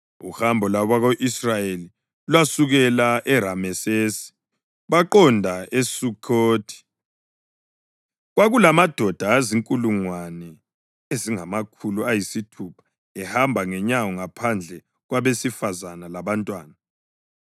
Uhambo lwabako-Israyeli lwasukela eRamesesi baqonda eSukhothi. Kwakulamadoda azinkulungwane ezingamakhulu ayisithupha ehamba ngenyawo ngaphandle kwabesifazane labantwana.